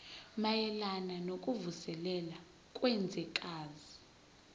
mayelana nokuvuselela kwezwekazi